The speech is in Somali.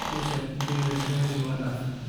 Mesha kudagilah gari waa daafe.